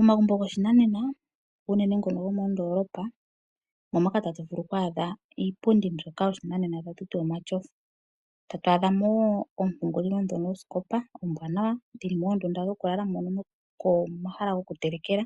Omagumbo goshinanena unene ngono gomoondolopa. Omo moka tatu vulu oku adha iipundi mbyoka yoshinanena tatu ti omatyofa. Tatu adha mo ompungulilo dhono ombwanawa oosikopa. Dhili moondunda dhoku lala nomo mahala goku telekela.